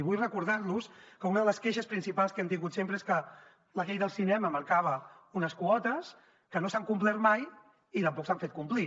vull recordar los que una de les queixes principals que hem tingut sempre és que la llei del cinema marcava unes quotes que no s’han complert mai i tampoc s’han fet complir